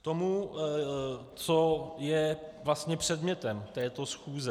K tomu, co je vlastně předmětem této schůze.